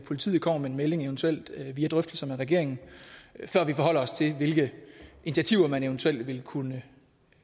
politiet kommer med en melding eventuelt via drøftelser med regeringen før vi forholder os til hvilke initiativer man eventuelt vil kunne